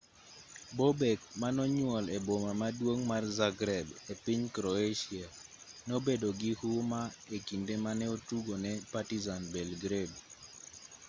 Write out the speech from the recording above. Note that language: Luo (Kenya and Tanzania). bobek manonyuol e boma maduong' mar zagreb e piny croatia nobedo gi huma e kinde mane otugo ne partizan belgrade